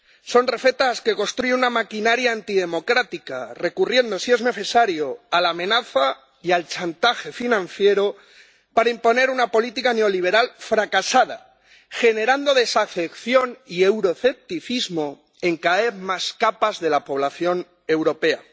Son recetas que construye una maquinaria antidemocrática, recurriendo si es necesario a la amenaza y al chantaje financiero para imponer una política neoliberal fracasada, generando desafección y euroescepticismo en cada vez más capas de la población europea.